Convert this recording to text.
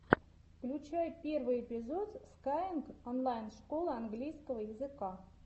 включай первый эпизод скайэнг онлайн школы английского языка